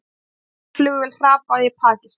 Flutningaflugvél hrapaði í Pakistan